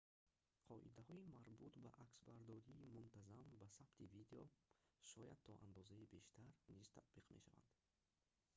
қоидаҳои марбут ба аксбардории мунтазам ба сабти видео шояд то андозае бештар низ татбиқ мешаванд